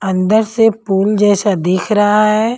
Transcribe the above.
अंदर से पुल जैसा दिख रहा है।